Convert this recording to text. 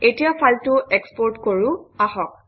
এতিয়া ফাইলটো এক্সপৰ্ট কৰোঁ আহক